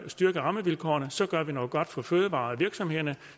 styrke rammevilkårene så gør vi noget godt for fødevarevirksomhederne